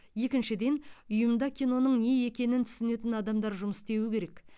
екіншіден ұйымда киноның не екенін түсінетін адамдар жұмыс істеуі керек